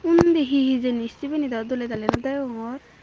undi he hijeni sibeni dow doley dali no degongor.